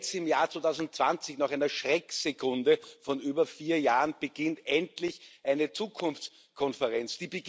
Jetzt, im Jahr 2020, nach einer Schrecksekunde von über vier Jahren, beginnt endlich eine Zukunftskonferenz.